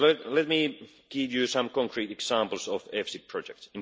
Let me give you some concrete examples of EFSI projects.